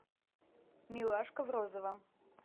милашка в розовом